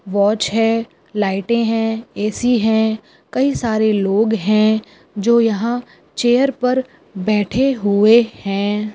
Watch है लाइटे है ए.सी. है कई सारे लोग है जो यहां चेयर पर बैठे हुए है।